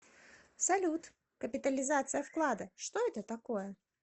салют капитализация вклада что это такое